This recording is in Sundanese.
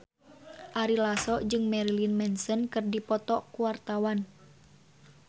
Ari Lasso jeung Marilyn Manson keur dipoto ku wartawan